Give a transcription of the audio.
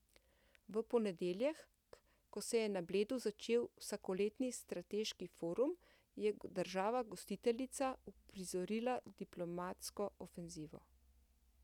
V ponedeljek, ko se je na Bledu začel vsakoletni strateški forum, je država gostiteljica uprizorila diplomatsko ofenzivo.